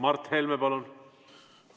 Mart Helme, palun!